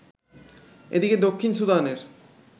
এদিকে দক্ষিণ সুদানের